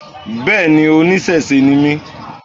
Bẹ́ẹ̀ ní, oníṣẹ̀ṣe ni mí.